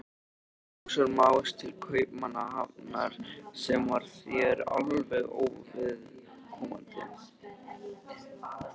Magnúsar Más til Kaupmannahafnar, sem var þér alveg óviðkomandi.